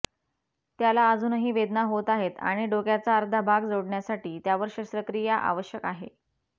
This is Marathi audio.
त्याला अजूनही वेदना होत आहेत आणि डोक्याचा अर्धा भाग जोडण्यासाठी त्यावर शस्त्रक्रिया आवश्यक आहे